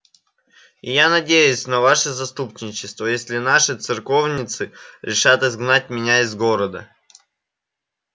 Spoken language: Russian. и я надеюсь на ваше заступничество если наши церковницы решат изгнать меня из города